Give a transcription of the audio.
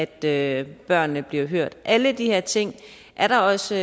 at børnene bliver hørt alle de her ting er der også